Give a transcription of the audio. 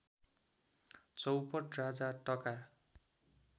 चौपट राजा टका